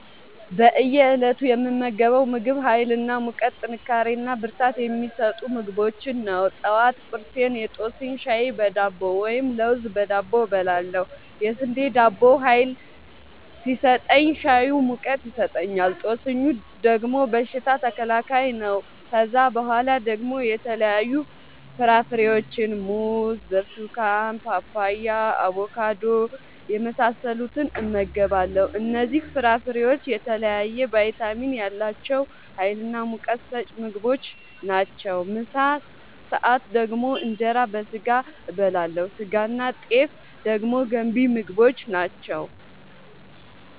በእየ እለቱ የምመገበው ምግብ ሀይል እና ሙቀት ጥንካሬና ብርታት የሚሰጡ ምግቦችን ነው። ጠዋት ቁርሴን የጦስኝ ሻይ በዳቦ ወይም ለውዝ በዳቦ እበላለሁ። የስንዴ ዳቦው ሀይል ሲሰጠኝ ሻዩ ሙቀት ይሰጠኛል። ጦስኙ ደግሞ በሽታ ተከላካይ ነው። ከዛ በኋላ ደግሞ የተለያዩ ፍራፍሬዎችን(ሙዝ፣ ብርቱካን፣ ፓፓያ፣ አቦካዶ) የመሳሰሉትን እመገባለሁ እነዚህ ፍራፍሬዎች የተለያየ ቫይታሚን ያላቸው ሀይልናሙቀት ሰጪ ምግቦች ናቸው። ምሳ ሰአት ደግሞ እንጀራ በስጋ አበላለሁ ስጋናጤፍ ደግሞ ገንቢ ምግቦች ናቸው